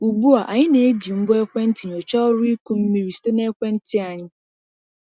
Ugbu a, anyị na-eji ngwa ekwentị nyochaa ọrụ ịkụ mmiri site na ekwentị anyị.